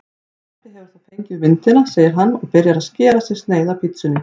Pabbi hefur þá fengið myndina, segir hann og byrjar að skera sér sneið af pitsunni.